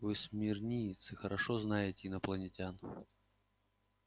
вы смирниец и хорошо знаете инопланетян